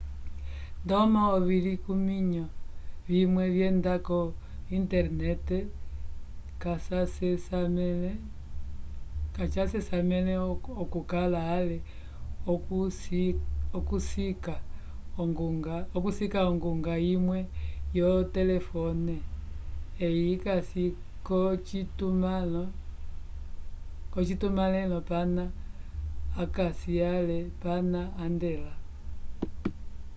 ndomo ovilikiyo vimwe vyenda lo internet kacasesamele okuka ale okusika onguga imwe yo telefon yi kasi ko citumalelo pana akasi ale pana andela